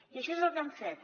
i això és el que hem fet